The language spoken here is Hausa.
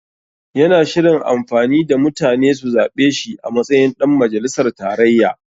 Yana shirin amfani da mutane su zaɓe shi a matsayin ɗan majalisar tarayya.